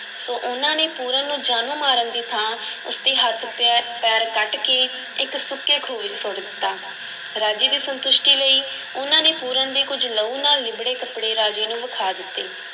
ਸੋ, ਉਹਨਾਂ ਨੇ ਪੂਰਨ ਨੂੰ ਜਾਨੋਂ ਮਾਰਨ ਦੀ ਥਾਂ ਉਸ ਦੇ ਹੱਥ ਪੈ~ ਪੈਰ ਕੱਟ ਕੇ ਇੱਕ ਸੁੱਕੇ ਖੂਹ ਵਿੱਚ ਸੁੱਟ ਦਿੱਤਾ, ਰਾਜੇ ਦੀ ਸੰਤੁਸ਼ਟੀ ਲਈ ਉਹਨਾਂ ਨੇ ਪੂਰਨ ਦੇ ਕੁੱਝ ਲਹੂ ਨਾਲ ਲਿੱਬੜੇ ਕੱਪੜੇ ਰਾਜੇ ਨੂੰ ਵਿਖਾ ਦਿੱਤੇ।